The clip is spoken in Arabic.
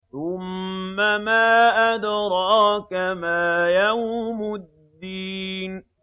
ثُمَّ مَا أَدْرَاكَ مَا يَوْمُ الدِّينِ